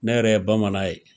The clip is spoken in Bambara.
Ne yɛrɛ ye bamanan ye.